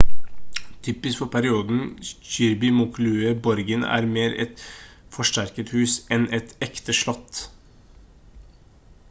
typisk for perioden kirby muxloe borgen er mer et forsterket hus enn et ekte slott